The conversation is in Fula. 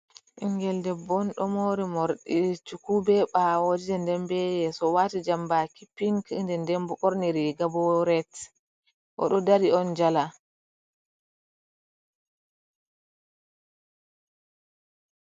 Ɓingel debbo on ɗo moori moorɗi chuku be ɓaawo je ndem be yeeso, o waati jambaaki pink nden ndem bo, ɓorni riiga bo ret, o ɗo dari on jala.